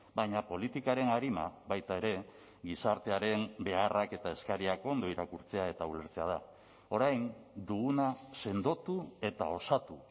baina politikaren arima baita ere gizartearen beharrak eta eskariak ondo irakurtzea eta ulertzea da orain duguna sendotu eta osatu